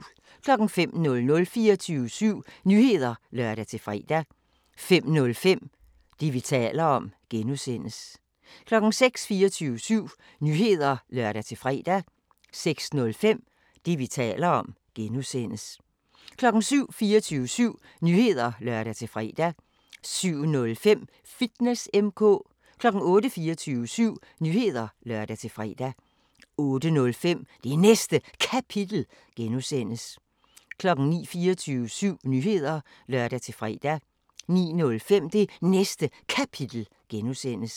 05:00: 24syv Nyheder (lør-fre) 05:05: Det, vi taler om (G) 06:00: 24syv Nyheder (lør-fre) 06:05: Det, vi taler om (G) 07:00: 24syv Nyheder (lør-fre) 07:05: Fitness M/K 08:00: 24syv Nyheder (lør-fre) 08:05: Det Næste Kapitel (G) 09:00: 24syv Nyheder (lør-fre) 09:05: Det Næste Kapitel (G)